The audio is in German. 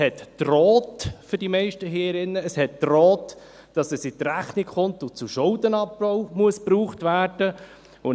Es drohte – für die meisten hier im Saal –, dass es in die Rechnung kommt und zum Schuldenabbau verwendet werden muss.